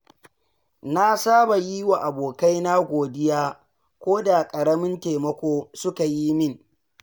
Na saba yi wa abokaina godiya koda ƙaramin taimako suka yi min.